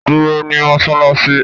Duro ni Mossalassi